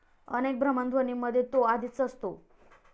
अनेक भ्रमणध्वनींमध्ये तो आधीच असतो.